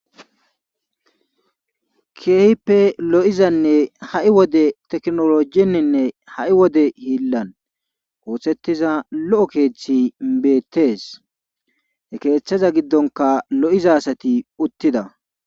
Keehippe lo7izanne ha7i wode tekinoloojeninne ha7i wide hiillan oothetiza lo7o keethi beettees he keethaza giddonkka lo7iza asati uttida.